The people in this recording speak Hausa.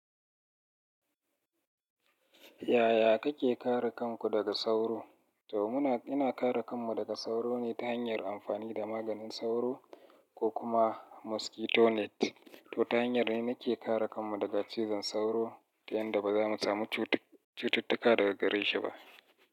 Yaya kake kare kanku daga sauro? To muna, ina kare kanmu daga sauro ne ta hanyar amfani da maganin sauro ko kuma mosquito net. To ta hanyar ne na ke kare kanmu daga cizon sauro ta yanda ba za mu samu cututtuka daga gare shi ba.